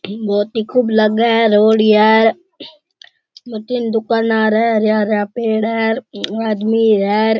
बहुत ही खूब लगे है रोड इ और तीन दुकान येर है हरा हरा पेड़ है और आदमी है।